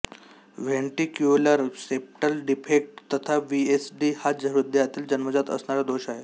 ventricular septal defect तथा VSD हा हृदयातील जन्मजात असणारा दोष आहे